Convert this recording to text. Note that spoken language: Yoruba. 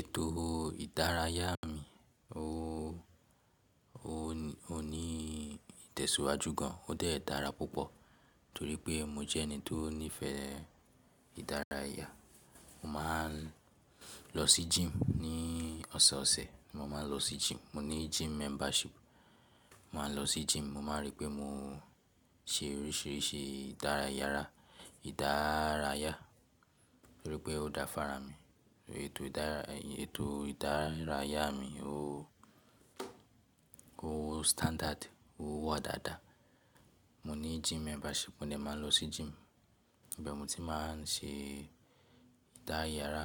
Ètò ìdárayá mi o, o ní ìtẹ̀síwájú gan, o dé dára púpọ̀ torí pé mo jẹ́ ẹni tó nífẹ̀ẹ́ ìdárayá. Mo máa ń lọ sí gym ní ọ̀sọ̀ọ̀sẹ̀, mo máa ń lọ sí gym, mo ní gym membership. Mo máa ń lọ sí gym, mo máa ń rí pé mo se oríṣìíríṣìí ìdárayára, ìdárayá torí pé ó da fára mi. Ètò ìdárayá mi o standard, o wà dáadáa. Mo ní gym membership, mo dè máa lọ sí gym ibẹ̀ mo ti máa ń se ìdárayára,